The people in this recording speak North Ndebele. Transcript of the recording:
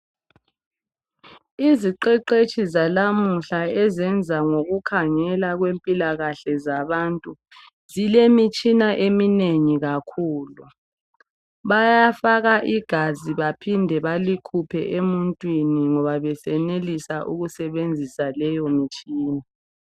Iziqeqetshi zalamuhla ezenza ngokukhangela mpilakahle zabantu zilemitshina eminengi kakhulu bayafaka igazi baphinde balikhuphe emuntwini ngoba besenelisa ukusebenzisa leyo mitshina.